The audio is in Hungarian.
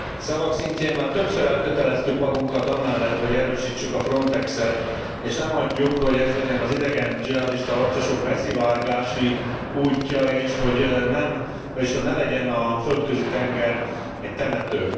Szavak szintjén már többször elköteleztük magunkat amellett, hogy erősítsük a Frontexet, és ne hagyjuk, hogy ez legyen az idegen dzsihadista harcosok beszivárgási útja, és hogy ne legyen a Földközi tenger egy temető.